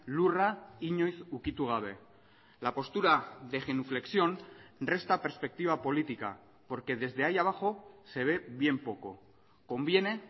lurra inoiz ukitu gabe la postura de genuflexión resta perspectiva política porque desde ahí abajo se ve bien poco conviene